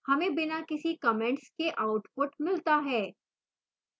हमें बिना किसी comments के output मिलता है